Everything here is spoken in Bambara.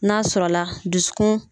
N'a sɔrɔ la dusukun